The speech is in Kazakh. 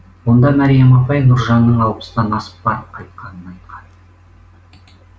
онда мәриям апай нұржанның алпыстан асып барып қайтқанын айтқан